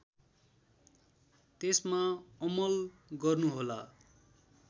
त्यसमा अमल गर्नुहोला